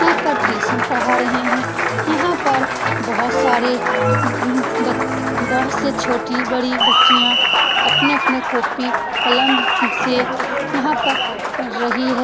यहाँ पर टीसन पढ़ा रहे हैं यहाँ पर बहुत सारे मम बत बहोत से छोटी-बड़ी बच्चियां अपने-अपने कोपी कलम से यहाँ पर पढ़ रही है।